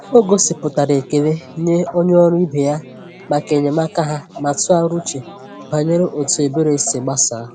Ọ gosipụtara ekele nye onye ọrụ ibe ya maka enyemaka ha ma tụgharịa uche banyere otu ebere si gbasaa.